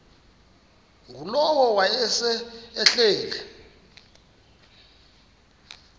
ngulowo wayesel ehleli